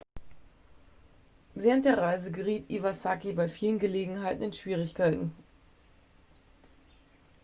während der reise geriet iwasaki bei vielen gelegenheiten in schwierigkeiten